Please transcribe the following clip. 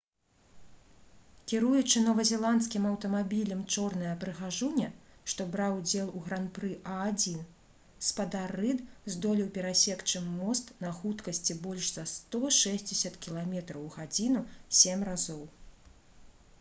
кіруючы новазеландскім аўтамабілем «чорная прыгажуня» што браў удзел у гран-пры а1 спадар рыд здолеў перасекчы мост на хуткасці больш за 160 км/г сем разоў